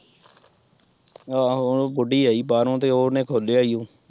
ਆਹੋ ਹੁਣ ਉਹ ਬੁੱਢੀ ਆਈ ਬਾਹਰੋਂ ਤੇ ਉਹ ਉਹਨੇ ਖੋਲਿਆ ਹੀ ਓ।